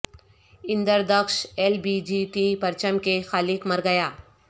اندردخش L B G T پرچم کے خالق مر گیا